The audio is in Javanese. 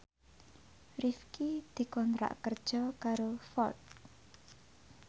Rifqi dikontrak kerja karo Ford